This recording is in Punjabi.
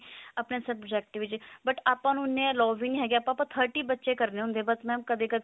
ਆਪਣੇ subject ਵਿੱਚ ਆਪਾਂ ਨੂੰ ਇੰਨੇ allow ਵੀ ਨਹੀ ਹੈਗੇ ਆਪਾਂ thirty ਬੱਚੇ ਕਰਨੇ ਹੁੰਦੇ ਆ ਬਸ mam ਕਦੇ ਕਦੇ